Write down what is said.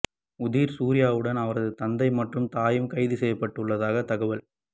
உதிர் சூர்யாவுடன் அவரது தந்தை மற்றும் தாயும் கைது செய்யப்பட்டுள்ளதாக தகவல்